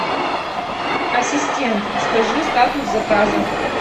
ассистент скажи статус заказа